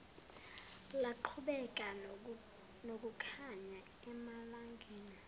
laqhubeka nokukhanya emalangeni